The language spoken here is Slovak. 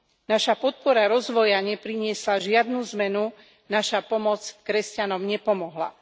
Naša podpora rozvoja nepriniesla žiadnu zmenu, naša pomoc kresťanom nepomohla.